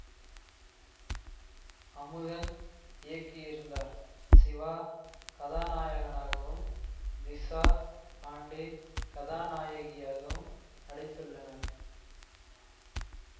அமுதன் இயக்கியிருந்தார் சிவா கதாநாயகனாகவும் திசா பாண்டே கதாநாயகியாகவும் நடித்துள்ளனர்